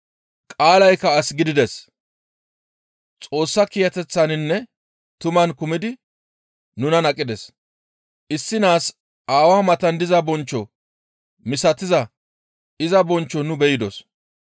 Qaalaykka as gidides; Xoossa kiyateththaninne tuman kumidi nunan aqides; issi naas aawaa matan diza bonchcho misatiza iza bonchcho nu be7idos.